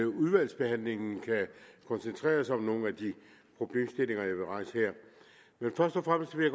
udvalgsbehandlingen kan koncentrere sig om nogle af de problemstillinger jeg vil rejse her men først og fremmest vil